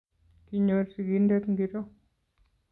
Kinyor sigindet ngiro